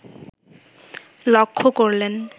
লক্ষ্য করলেন